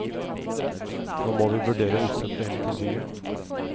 Nå må vi vurdere å utsette hele tilbygget.